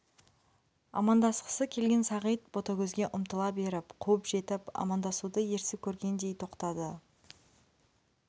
амандасқысы келген сағит ботагөзге ұмтыла беріп қуып жетіп амандасуды ерсі көргендей тоқтады